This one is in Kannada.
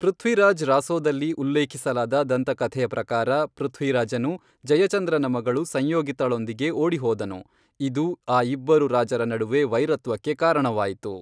ಪೃಥ್ವಿರಾಜ್ ರಾಸೊದಲ್ಲಿ ಉಲ್ಲೇಖಿಸಲಾದ ದಂತಕಥೆಯ ಪ್ರಕಾರ, ಪೃಥ್ವಿರಾಜನು ಜಯಚಂದ್ರನ ಮಗಳು ಸಂಯೋಗಿತಾಳೊಂದಿಗೆ ಓಡಿಹೋದನು, ಇದು ಆ ಇಬ್ಬರು ರಾಜರ ನಡುವೆ ವೈರತ್ವಕ್ಕೆ ಕಾರಣವಾಯಿತು.